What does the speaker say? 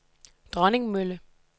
Dronningmølle